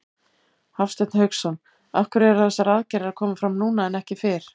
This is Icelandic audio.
Hafsteinn Hauksson: Af hverju eru þessar aðgerðir að koma fram núna en ekki fyrr?